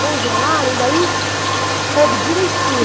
Congelaram e daí coube direitinho.